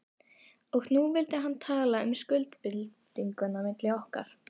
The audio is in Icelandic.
Og nú vildi hann tala um skuldbindingu milli okkar.